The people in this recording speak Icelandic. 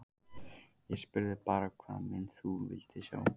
Ég spurði bara hvaða mynd þú vildir sjá.